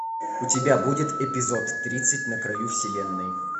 у тебя будет эпизод тридцать на краю вселенной